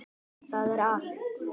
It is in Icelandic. Það er allt.